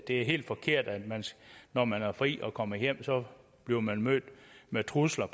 er helt forkert at man når man har fri og kommer hjem bliver mødt mødt med trusler